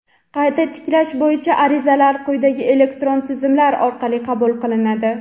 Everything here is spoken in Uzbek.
qayta tiklash bo‘yicha arizalar quyidagi elektron tizimlar orqali qabul qilinadi:.